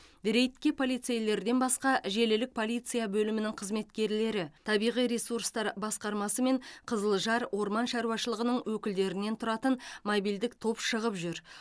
рейдке полицейлерден басқа желілік полиция бөлімінің қызметкерлері табиғи ресурстар басқармасы мен қызылжар орман шаруашылығының өкілдерінен тұратын мобильдік топ шығып жүр